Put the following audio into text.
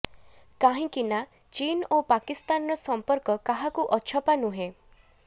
କାହିଁକିନା ଚୀନ ଓ ପାକିସ୍ତାନର ସମ୍ପର୍କ କାହାକୁ ଅଛପା ନୁହେଁ